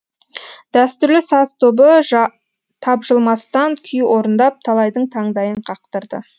дәстүрлі саз тобы тапжылмастан күй орындап талайдың таңдайын қақтырды